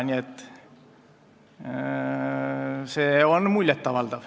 Nii et see on muljet avaldav.